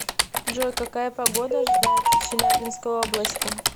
джой какая погода ожидается в челябинской области